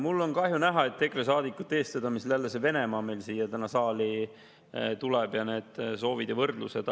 Mul on kahju, et EKRE saadikute eestvedamisel tulid meil jälle siia saali Venemaa ja need soovid ja võrdlused.